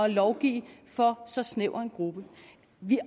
lovgive for så snæver en gruppe